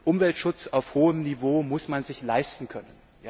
Umweltschutz auf hohem Niveau muss man sich leisten können.